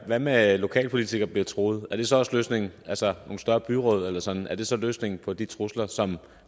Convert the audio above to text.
hvad med at lokalpolitikere bliver truet er det så også løsningen altså nogle større byråd eller sådan er det så løsningen på de trusler som